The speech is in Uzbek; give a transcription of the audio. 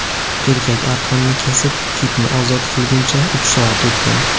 Erkak arqonni kesib, kitni ozod qilgunicha uch soat o‘tgan.